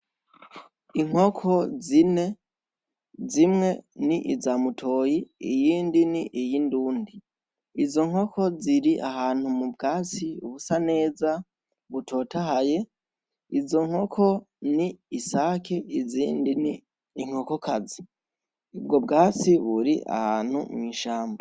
Inkoko zine, zimwe ni iza mutoyi iyindi ni iy’indundi izo nkoko ziri ahantu m'ubwatsi busa neza butotahaye izo ni isake izindi ni inkoko kazi ubwo bwatsi buri ahantu mw'ishamba.